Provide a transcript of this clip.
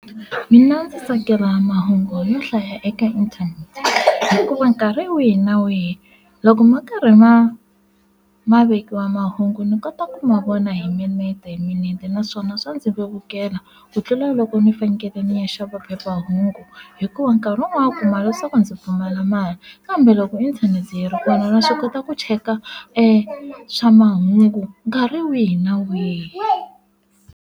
Mina ndzi tsakela mahungu yo hlaya eka inthanete hikuva nkarhi wihi na wihi loko ma karhi ma ma vekiwa mahungu ni kota ku ma vona hi minete hi minete naswona swa ndzi vevukela ku tlula loko ni fanekele ni ya xava phephahungu hikuva nkarhi wun'wanyana u kuma leswaku ndzi pfumala mali kambe loko inthanete yi ri kona na swi kota ku cheka swa mahungu nkarhi wihi na wihi.